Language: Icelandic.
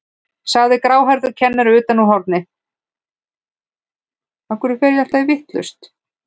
sagði gráhærður kennari utan úr horni.